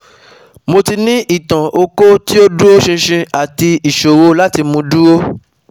Mo ní itan oko ti o duro shishin ati isoro lati mu duro